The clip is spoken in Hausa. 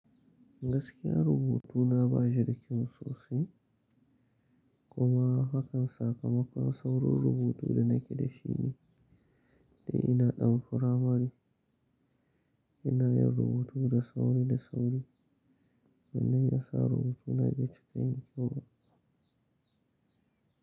Gaskiya rubutuna ba shi da kyau sosai kuma hakan sakamakon saurin rubutu da nake da shi ne, da ina ɗan furamari ina yin rubutu da sauri da sauri wanan ya sa rubutuna ya ci kai yin kyau.